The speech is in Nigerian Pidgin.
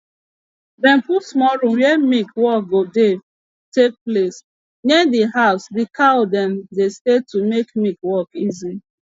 dem put small room were milk work go dey take place near de house de cow dem dey stay to make milk work easy